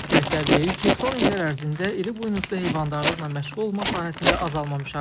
Ekspertlər deyir ki, son illər ərzində iri buynuzlu heyvandarlıqla məşğul olma sahəsində azalma müşahidə olunur.